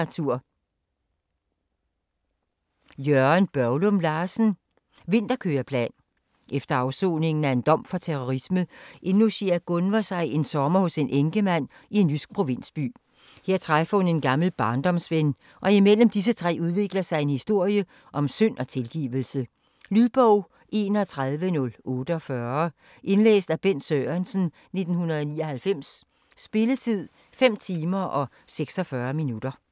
Børglum Larsen, Jørgen: Vinterkøreplan Efter afsoningen af en dom for terrorisme indlogerer Gunver sig en sommer hos en enkemand i en jysk provinsby. Her træffer hun en gammel barndomsven, og mellem disse tre udvikler sig en historie om synd og tilgivelse. Lydbog 31048 Indlæst af Bent Sørensen, 1999. Spilletid: 5 timer, 26 minutter.